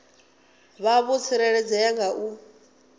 vha vho tsireledzea nga u